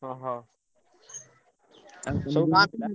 ଅହ, ସବୁ ଗାଁ ପିଲା?